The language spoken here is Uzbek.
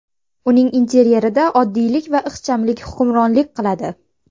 Uning interyerida oddiylik va ixchamlik hukmronlik qiladi.